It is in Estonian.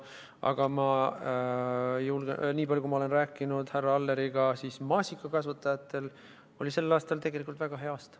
Aga ma julgen öelda, et niipalju kui ma olen härra Alleriga rääkinud, oli maasikakasvatajatel sel aastal tegelikult väga hea aasta.